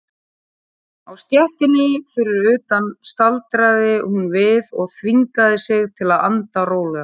Á stéttinni fyrir utan staldraði hún við og þvingaði sig til að anda rólega.